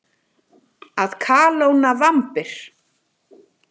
Að kalóna vambir.